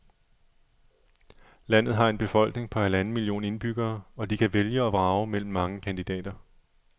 Landet har en befolkning på halvanden million indbyggere, og de kan vælge og vrage mellem mange kandidater.